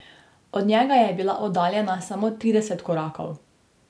Od njega je bila oddaljena samo trideset korakov.